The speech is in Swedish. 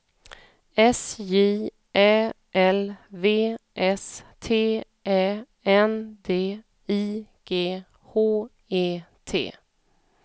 S J Ä L V S T Ä N D I G H E T